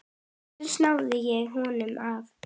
Loks náði ég honum af.